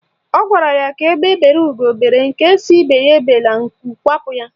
Ọ gwara ya ka egbe bere ugo bere, nke sị ibe ya ebela, nku kwapụ ya.